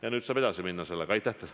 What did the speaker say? Ja nüüd saab sellega edasi minna.